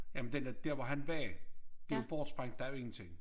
Jamen den er dér hvor han var det jo bortsprængt der er jo ingenting